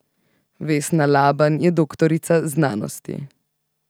Vesna Laban je doktorica znanosti.